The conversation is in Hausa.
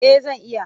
Eh zan iya.